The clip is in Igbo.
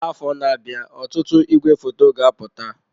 Afọ na-abịa ọtụtụ igwefoto ga-apụta.